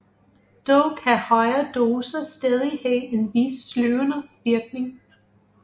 Dog kan højere doser stadig have en vis sløvende virkning